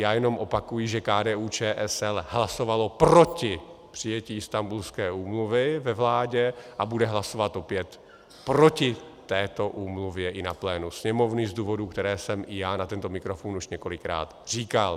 Já jenom opakuji, že KDU-ČSL hlasovala proti přijetí Istanbulské úmluvy ve vládě a bude hlasovat opět proti této úmluvě i na plénu Sněmovny z důvodů, které jsem i já na tento mikrofon už několikrát říkal.